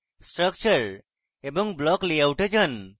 structure এবং block layout এ যান